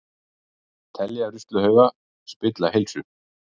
Telja ruslahauga spilla heilsu